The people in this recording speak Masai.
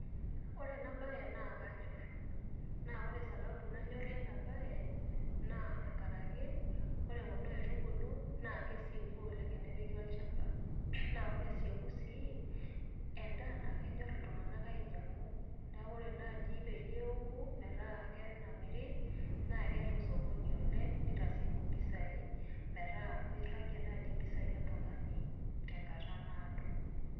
Ore ena bae naa kanyor naa ore sababu nanyorie ena bae naa enkaraki ore kuna aitubulu naa kesieku oleng tenepiki olchamba , naa ore esieku sii , endaa naa kenyor iltunganak ainyiangu , niaku ore naji peyie eoku metaa kenamiri naa keeta osokoni oleng nitasieku impisai metaa miragie nai impisai oltungani tenkata naado.